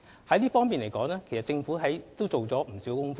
就這方面來說，政府已做了不少工夫。